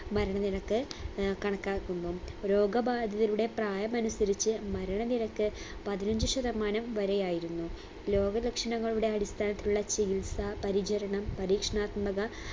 മരണനിരക്ക് ഏർ കണക്കാക്കുന്നു രോഗബാധിതരുടെ പ്രായമനുസരിച്ച് മരണ നിരക്ക് പതിനഞ്ചു ശതമാനം വരെയായിരുന്നു രോഗ ലക്ഷണങ്ങളുടെ അടിസ്ഥാനത്തിലുള്ള ചികിത്സ പരിചരണം പരീക്ഷണാത്മക